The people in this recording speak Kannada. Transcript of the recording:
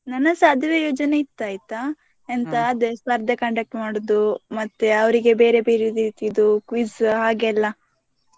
ನನ್ನದ್ಸಾ ಅದುವೇ ಯೋಜನೆ ಇತ್ತ್ ಆಯ್ತಾ ಅದೇ ಸ್ಪರ್ಧೆ conduct ಮಾಡುದು ಮತ್ತೆ ಅವರಿಗೆ ಬೇರೆ ಬೇರೆ ರೀತಿದ್ದು quiz ಹಾಗೆಲ್ಲಾ.